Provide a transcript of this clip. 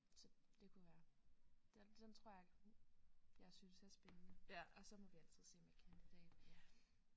Så det kunne være den den tror jeg jeg synes er spændende og så må altså se med kandidat